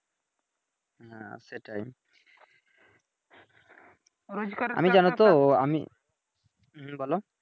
হ্যা সেটাই আমি জানোতো আমি হুম বলো